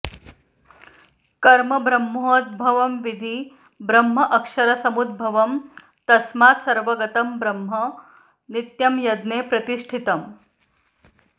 कर्म ब्रह्मोद्भवं विद्धि ब्रह्म अक्षरसमुद्भवम् तस्मात् सर्वगतं ब्रह्म नित्यं यज्ञे प्रतिष्ठितम्